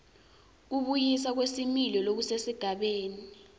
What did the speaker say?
kubuyiswa kwesimilo lokusesigabeni